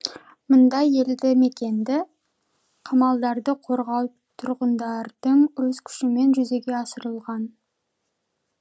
мұндай елді мекенді қамалдарды қорғау тұрғындардың өз күшімен жүзеге асырылған